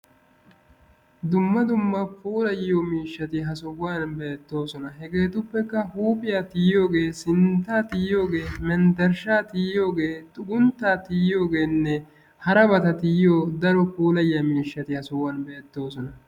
Dumma dumma puulayiyo miishshati ha sohuwan beettoosona. Hegeetuppekka huuphiya tiyiyooge, sintta tiyiyooge, menttershsha tiyiyooge, xugguntta tiyiyoogeenne harabata tiyiyooge daro puulayiyo miishshati ha sohuwan beettoosona